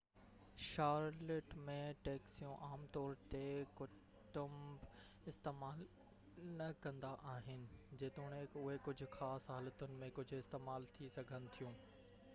Charlotte ۾ ٽيڪسيون عام طور تي ڪٽنب استعمال نہ ڪندا آهن جيتوڻڪ اهي ڪجهہ خاص حالتن ۾ ڪجهہ استعمال ٿي سگهن ٿيون